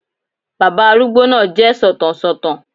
Bàbá arúgbó náà jẹ́ sọ̀tàn sọ̀tàn